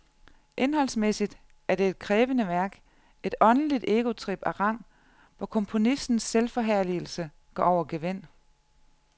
Indholdsmæssigt er det et krævende værk, et åndeligt egotrip af rang, hvor komponistens selvforherligelse går over gevind.